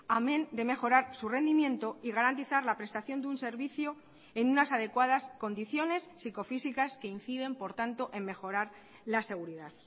amén de mejorar su rendimiento y garantizar la prestación de un servicio en unas adecuadas condiciones psicofísicas que inciden por tanto en mejorar la seguridad